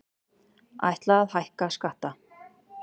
Ætla að hækka skatta